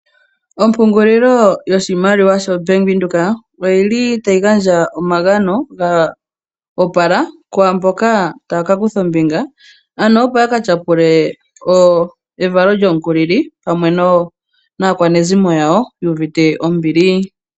Ompungililo yiimaliwa ya Venduka oyili tayi gandja omagano ga opala kwaamboka taya kakutha ombinga ano opo ya katyapule evalo lyomukulili naakwanezimo yawo yu uvite ombili.